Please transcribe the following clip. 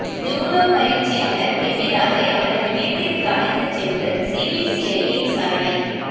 judo பயிற்சியாளர் கெபிராஜை அவரது வீட்டிற்கு அழைத்துச் சென்று சிபிசிஐடி விசாரணை